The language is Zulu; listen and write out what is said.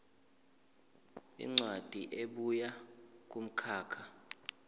incwadi ebuya kumkhakha